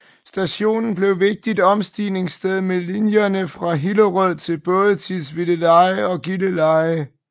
Stationen blev vigtigt omstigningssted med linjerne fra Hillerød til både Tisvildeleje og Gilleleje